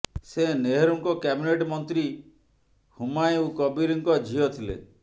ସେ ନେହରୁଙ୍କ କ୍ୟାବିନେଟ୍ ମନ୍ତ୍ରୀ ହୁମାୟୁଁ କବୀରଙ୍କ ଝିଅ ଥିଲେ